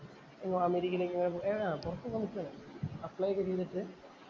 അമേരിക്കയിലേക്കോ പൊറത്ത് പോകാന്‍ നിക്കയാണ്‌ അപ്ലൈ ഒക്കെ ചെയ്തിട്ട്